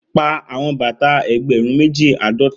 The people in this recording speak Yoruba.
Pa awọn bata ẹgbẹrun meji ãdọta!